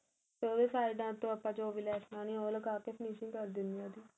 ਤੇ ਉਹਦੇ ਸਾਈਡਾਂ ਤੋ ਆਪਾ ਜੋ ਵੀ ਲੈਸ਼ ਲਾਉਣੀ ਏ ਉਹ ਲਗਾਕੇ finishing ਕਰ ਦਿੰਨੇ ਏ ਉਹਦੀ